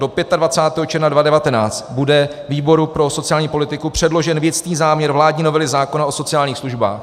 Do 25. června 2019 bude výboru pro sociální politiku předložen věcný záměr vládní novely zákona o sociálních službách.